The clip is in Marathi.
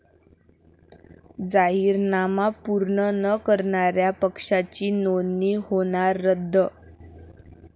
जाहीरनामा पूर्ण न करणाऱ्या पक्षाची नोंदणी होणार रद्द